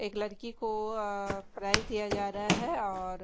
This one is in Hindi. एक लड़की को प्राइस दिया जा रहा है और--